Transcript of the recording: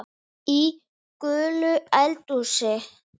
Í gulu eldhúsi